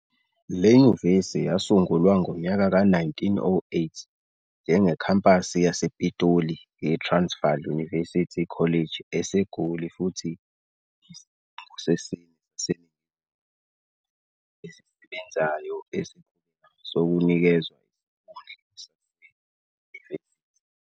Le nyuvesi yasungulwa ngonyaka ka-1908 njenge-khampasi yasePitoli ye-Transvaal University College eseGoli futhi iyisikhungo sesine saseNingizimu Afrika esisebenzayo esiqhubekayo sokunikezwa isikhundla saseyunivesithi.